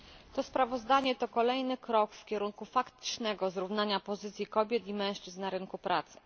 To sprawozdanie to kolejny krok w kierunku faktycznego zrównania pozycji kobiet i mężczyzn na rynku pracy.